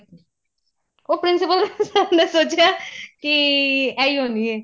ਉਹ principal sir ਨੇ ਸੋਚਿਆ ਕੀ ਇਹੀ ਹੋਣੀ ਏ